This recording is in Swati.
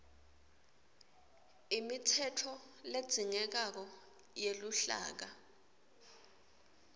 imitsetfo ledzingekako yeluhlaka